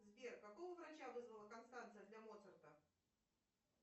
сбер какого врача вызвала констанция для моцарта